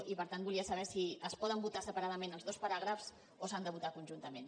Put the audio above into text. i per tant volia saber si es poden votar separadament els dos paràgrafs o s’han de votar conjuntament